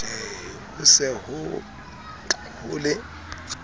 ho se ho ho le